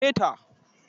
Ka mare ta!